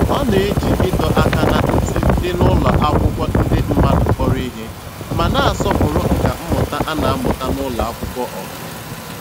Ọ na-eji ịdọ aka ná ntị dị n'ụlọ akwụkwọ ndị mmadụ kpọrọ ihe, ma na-asọpụrụ nkà mmụta a na-amụta na ụlọ akwụkwọ ọha.